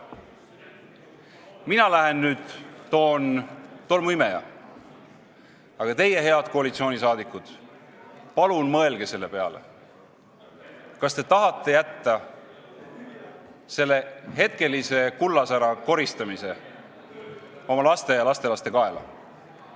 Mina lähen nüüd toon tolmuimeja, aga teie, head koalitsioonisaadikud, palun mõelge selle peale, kas te tahate jätta selle hetkelise kullasära koristamise oma laste ja lastelaste kaela.